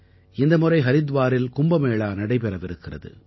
இந்த முறை ஹரித்வாரில் கும்பமேளா நடைபெறவிருக்கிறது